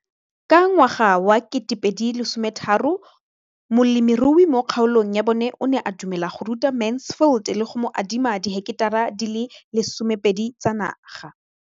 Ka ngwaga wa 2013, molemirui mo kgaolong ya bona o ne a dumela go ruta Mansfield le go mo adima di heketara di le 12 tsa naga.